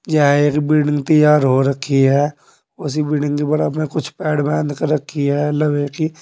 यह एक बिल्डिंग तैयार हो रखी है उसी बिल्डिंग के बराबर में कुछ पैड बांध कर रखी है लवे की--